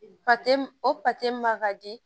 o ma ka di